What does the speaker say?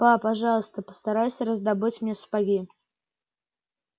па пожалуйста постарайся раздобыть мне сапоги